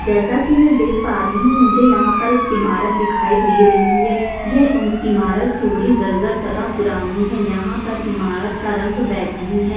जैसा की मै देख आ रही हु मुझे यहाँ पर एक इमारत दिखाइ दे रही है यह इमारत थोड़ी जर-जर तथा पुरानी है यहाँ पर इमारत का रंग बैंगनी है ।